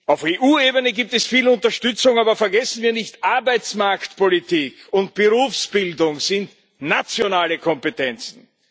Auf EU Ebene gibt es viel Unterstützung, aber vergessen wir nicht Arbeitsmarktpolitik und Berufsbildung sind nationale Kompetenzen.